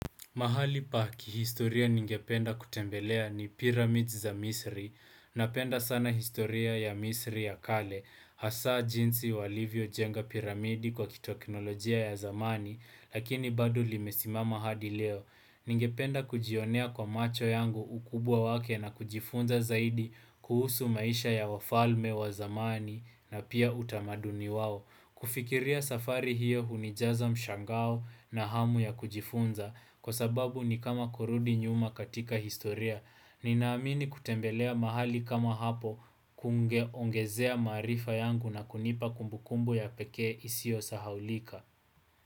Mahali pa kihistoria ningependa kutembelea ni pyramid za misri. Napenda sana historia ya misri ya kale. Hasa jinsi walivyojenga piramidi kwa kitekinolojia ya zamani, lakini bado limesimama hadi leo. Ningependa kujionea kwa macho yangu ukubwa wake na kujifunza zaidi kuhusu maisha ya wafalme wa zamani na pia utamaduni wao. Kufikiria safari hiyo hunijaza mshangao na hamu ya kujifunza kwa sababu ni kama kurudi nyuma katika historia. Ninaamini kutembelea mahali kama hapo kungeongezea maarifa yangu na kunipa kumbukumbu ya pekee isiyosahaulika.